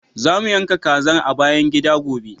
Za mu yanka kazar a bayan gida, gobe.